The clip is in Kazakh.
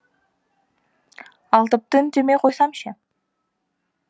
ал тіпті үндемей қойсам ше